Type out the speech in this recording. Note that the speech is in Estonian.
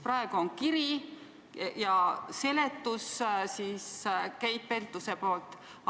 Praegu on meil see paberil ettepanek ja Keit Pentuse seletus.